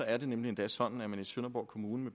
at det nemlig er sådan at man i sønderborg kommune